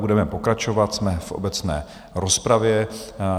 Budeme pokračovat, jsme v obecné rozpravě.